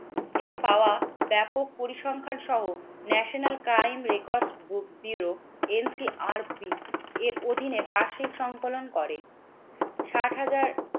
থেকে পাওয়া ব্যাপক পরিসংখ্যানসহ ন্যাশনাল ক্রাইম রেকর্ড বু ব্যুরো NCRP এর অধীনে বার্ষিক সংকলন করে। ষাট হাজার